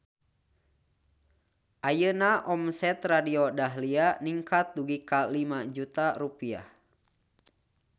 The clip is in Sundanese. Ayeuna omset Radio Dahlia ningkat dugi ka 5 juta rupiah